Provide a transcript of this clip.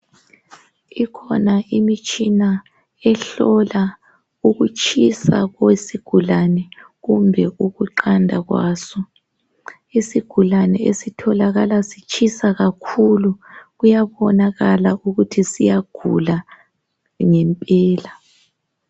Ikhona imitshina ehlola ukutshisa kwesigulane kumbe ukuqanda kwaso. Isigulane esitholakala sitshisa kakhulu kuyabonakala ukuthi siyagula ngempela.